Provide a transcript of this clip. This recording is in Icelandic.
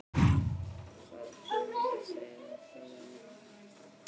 Hvaða tíðindi segirðu af föður mínum?